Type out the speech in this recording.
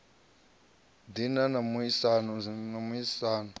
ḓi na mu a isano